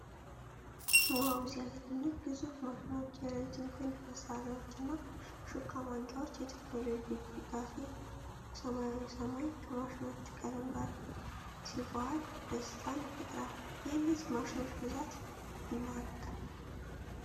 ዋው ሲያስደንቅ! ግዙፍ ማሽኖች! የረጅም ክንድ መሣሪያዎችና ሹካ ማንሻዎች! የቴክኖሎጂ ግስጋሴ! ሰማያዊው ሰማይ ከማሽኖቹ ቀለም ጋር ሲዋሃድ ደስታን ይፈጥራል። የእነዚህ ማሽኖች ብዛት ልብ ይማርካል።